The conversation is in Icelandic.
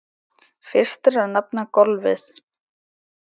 Fyrst er að nefna golfið.